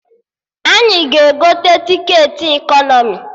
Anyị ga-egote tiketi ekọnọmi